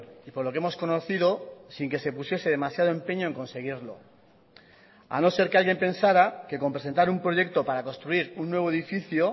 y por lo que hemos conocido sin que se pusiese demasiado empeño en conseguirlo a no ser que alguien pensara que con presentar un proyecto para construir un nuevo edificio